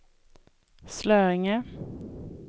Slöinge